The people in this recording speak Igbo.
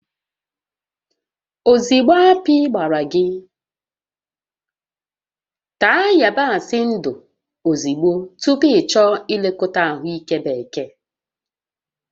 Ozugbo akpị gbara ya, taa yabasị ndụ ozugbo tupu ịchọọ nlekọta ahụike bekee